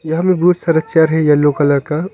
घर में बहुत सारा चेयर है येलो कलर का।